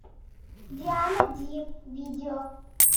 диана ди видео